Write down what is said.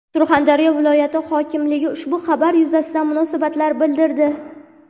Surxondaryo viloyati hokimligi ushbu xabar yuzasidan munosabat bildirdi .